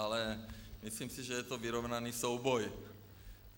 Ale myslím si, že je to vyrovnaný souboj.